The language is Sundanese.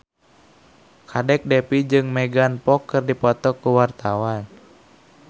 Kadek Devi jeung Megan Fox keur dipoto ku wartawan